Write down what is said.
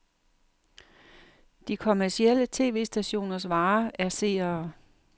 De kommercielle tv-stationers vare er seere.